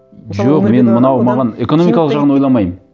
жоқ мен мынау маған экономикалық жағын ойламаймын